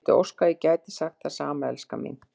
Ég vildi óska að ég gæti sagt það sama, elskan mín.